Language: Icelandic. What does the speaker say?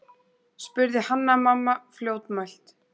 spurði Hanna-Mamma fljótmælt.